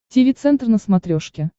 тиви центр на смотрешке